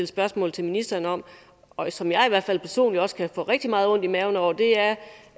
spørgsmål til ministeren om og som jeg i hvert fald personligt også kan få rigtig meget ondt i maven over